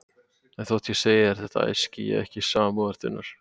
En þótt ég segi þér þetta æski ég ekki samúðar þinnar.